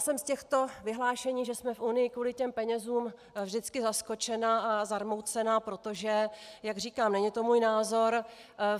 Jsem z těchto vyhlášení, že jsme v Unii kvůli těm penězům, vždycky zaskočena a zarmoucena, protože jak říkám, není to můj názor.